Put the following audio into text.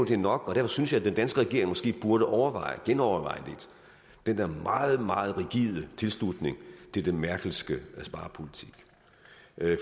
det er nok og derfor synes jeg den danske regering måske burde overveje genoverveje den der meget meget rigide tilslutning til den merkelske sparepolitik